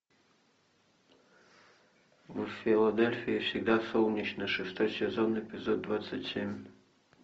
в филадельфии всегда солнечно шестой сезон эпизод двадцать семь